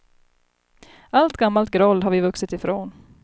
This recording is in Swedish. Allt gammalt groll har vi vuxit ifrån.